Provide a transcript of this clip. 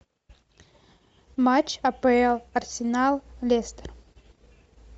матч апл арсенал лестер